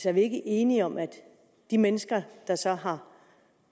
er vi ikke enige om at de mennesker der så har